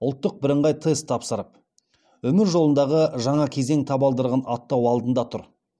ұлттық бірыңғай тест тапсырып өмір жолындағы жаңа кезең табалдырығын аттау алдында тұр